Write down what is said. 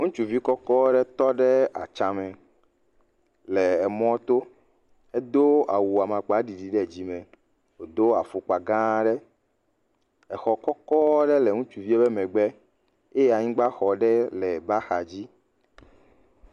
Ŋutsuvi kɔkɔ ɖe tɔ ɖe atsãme le emɔto. Edo awu amakpaɖiɖi ɖe dzime. Wòdo afɔkpa gãa aɖe. Exɔ kɔkɔ aɖe le ŋutsuvia ƒe megbe eye anyigbaxɔ ɖe le eƒe axadzi